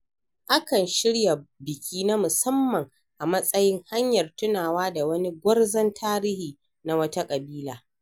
A kan shirya biki na musamman a matsayin hanyar tunawa da wani gwarzon tarihi na wata ƙabila.